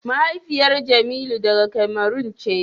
mahaifiyar jemilu daga Cameron ce.